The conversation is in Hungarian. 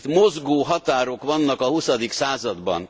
Itt mozgó határok vannak a huszadik században.